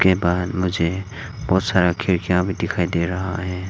बाहर मुझे बहोत सारा खिड़कियां भी दिखायी दे रहा है।